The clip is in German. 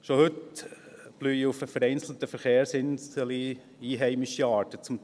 Schon heute blühen auf vereinzelten Verkehrsinseln zum Teil einheimische Arten